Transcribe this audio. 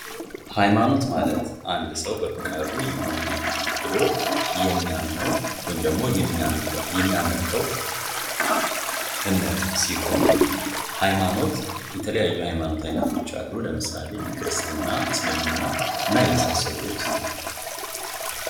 ሃይማኖት ማለት አንድ ሰው በፍቃዱ ይ ሁንብኝ ብሎ የሚያምነው ወይም ደግሞ በፈቃዱ የሚያመልከው እምነት ሲሆን ሃይማኖት የተለያዩ የሀይማኖት አይነቶች አሉ ለምሳሌ ክርስትና እስልምና እና የመሳሰሉት ናቸው።